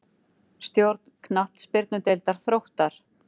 Stjórn Knattspyrnudeildar Þróttar.